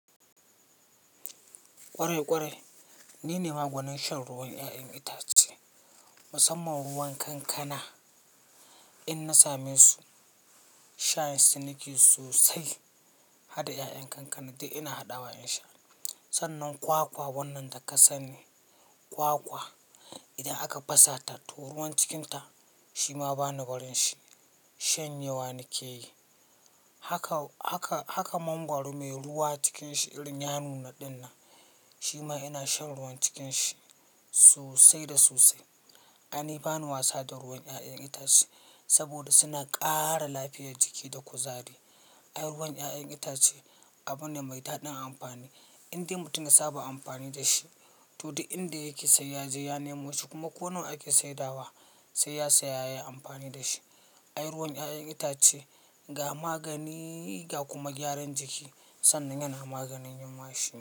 Ƙwarai ƙwarai ni ne magwanin shan ruwan 'ya'yan itace, musamman ruwan kankana. In na same su shayin su nike sosai. Hada 'ya'yan kankana duk ina haɗawa in sha. Sannan kwakwa wannan da ka sani kwakwa idan aka fas ta toh ruwan cikinta shi ma bani barin shi shanye wa nike yi. Haka, haka, haka mangwaro mai ruwa cikin shi irin yanuna ɗin nan shi ma ina shan ruwan cikin shi sosai da sosai. Kana bani wasa da ruwan 'ya'yan itace saboda suna ƙara lafiyar jiki da kuzari. A yi ruwan 'ya'yan itace abu ne mai daɗin amfani indai mutum ya saba amfani da shi. To, inda yake sai ya je ya nemo shi kuma ko nawa ake saidawa sai ya saya ya yi amfani da shi. A yi ruwan 'ya'yan itace ga magani ga kuma gyaran jiki sannan yana maganin yunwa shi ma.